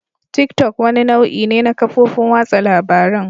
Tick-tock wani nau'i ne na kafofin watsa labarun.